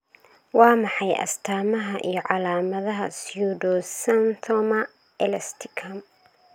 Waa maxay astamaha iyo calaamadaha Pseudoxanthoma elasticum?